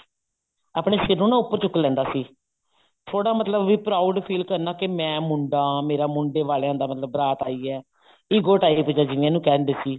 ਆਪਨੇ ਸਿਰ ਨੂੰ ਨਾ ਉੱਪਰ ਚੁੱਕ ਲੈਂਦਾ ਸੀ ਥੋੜਾ ਮਤਲਬ ਵੀ proud feel ਕਰਨਾ ਮੈਂ ਮੁੰਡਾ ਵੀ ਮਤਲਬ ਮੁੰਡੇ ਵਾਲੀਆਂ ਦੀ ਬਾਰਾਤ ਆਈ ਹੈ ego type ਜਾ ਜਿਵੇਂ ਉਹਨੂੰ ਕਿਹ ਦਿੰਦੇ ਸੀ